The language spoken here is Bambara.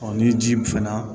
ni ji fɛn na